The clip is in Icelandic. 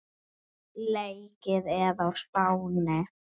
Leikið er á Spáni.